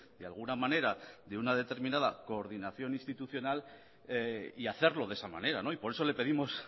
de alguna manera de una determinada coordinación institucional y hacerlo de esa manera y por eso le pedimos